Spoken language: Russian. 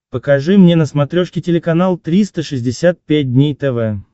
покажи мне на смотрешке телеканал триста шестьдесят пять дней тв